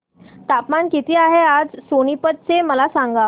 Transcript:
तापमान किती आहे आज सोनीपत चे मला सांगा